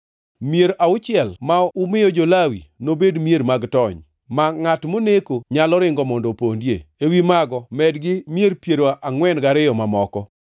“Mier auchiel ma umiyo jo-Lawi nobed mier mag tony, ma ngʼat moneko nyalo ringo mondo opondie. Ewi mago medgi mier piero angʼwen gariyo mamoko.